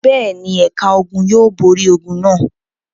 Bẹ́ẹ̀ ni, ẹ̀ka ogun yóò borí ogun náà.